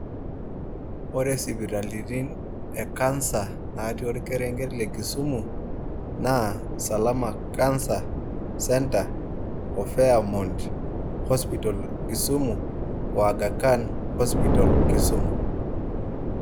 Ore sipitalini e cancer tor kerenket le kisumu naa salama cancer centre, diamond hospital kisumu